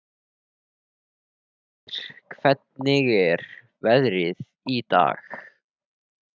Hergeir, hvernig er veðrið í dag?